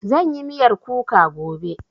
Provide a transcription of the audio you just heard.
Zan yi miyar kuka gobe